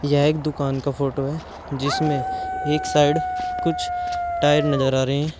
यह एक दुकान का फोटो है जिसमें एक साइड कुछ टायर नजर आ रहे हैं।